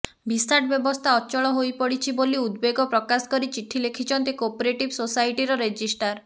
VSAT ବ୍ୟବସ୍ଥା ଅଚଳ ହୋଇପଡିଛି ବୋଲି ଉଦ୍ବେଗ ପ୍ରକାଶ କରି ଚିଠି ଲେଖିଛନ୍ତି କୋଅପରେଟିଭ୍ ସୋସାଇଟର ରେଜିଷ୍ଟ୍ରାର